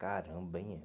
Caramba, hein?